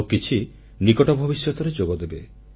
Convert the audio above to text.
ଆଉ କିଛି ନିକଟ ଭବିଷ୍ୟତରେ ଯୋଗଦେବେ